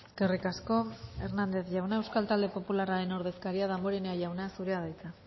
eskerrik asko hernandez jauna euskal talde popularraren ordezkaria damborenea jauna zurea da hitza